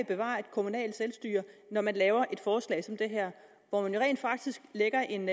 bevare et kommunalt selvstyre når man laver et forslag som det her hvor man jo rent faktisk lægger en